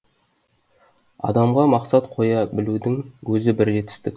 адамға мақсат қоя білудің өзі бір жетістік